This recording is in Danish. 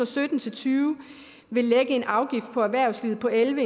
sytten til tyve ville lægge en afgift på erhvervslivet på elleve